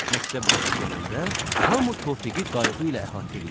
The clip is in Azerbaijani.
Məktəb vaxtı gələndə, hamı Tofiği qayğı ilə əhatə eləyirdi.